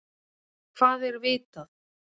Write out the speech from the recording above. Hvað er vitað?